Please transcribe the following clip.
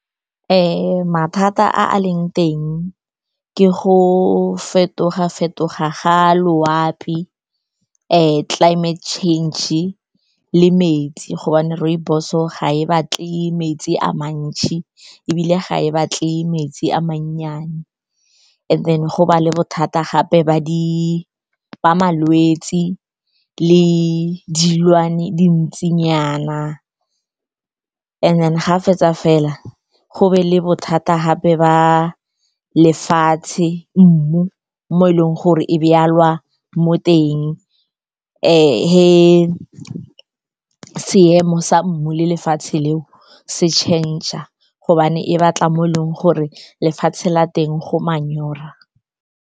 Mathata a leng teng ke go fetoga-fetoga ga a loapi, climate change-e, le metsi gobane rooibos-o ga e batle metsi a mantsi ebile ga e batle metsi a mannyane. And then go ba le bothata gape ba malwetse le dintshinyana. And then ga fetsa fela, go be le bothata gape ba lefatshe, mmu, mo e leng gore e jalwa mo teng. Seemo sa mmu le lefatshe leo se change-a gobane e batla mo e leng gore lefatshe la teng go manyora.